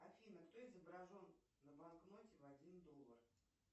афина кто изображен на банкноте в один доллар